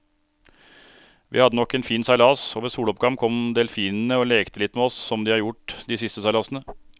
Vi hadde nok en fin seilas, og ved soloppgang kom delfinene og lekte litt med oss som de har gjort de siste seilasene.